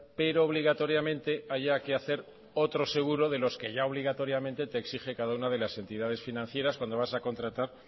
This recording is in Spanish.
pero obligatoriamente haya que hacer otro seguro de los que ya obligatoriamente te exige cada una de las entidades financieras cuando vas a contratar